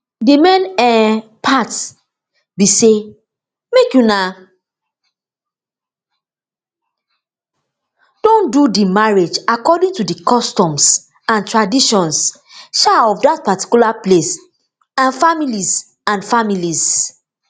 di main um part be say make una don do di marriage according to di customs and traditions um of dat particular place and families and families